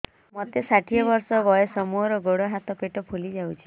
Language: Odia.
ମୋତେ ଷାଠିଏ ବର୍ଷ ବୟସ ମୋର ଗୋଡୋ ହାତ ପେଟ ଫୁଲି ଯାଉଛି